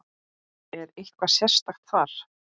Lillý: Er eitthvað sérstakt þar?